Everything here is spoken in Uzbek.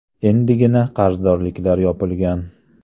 Endigina qarzdorliklar yopilgan.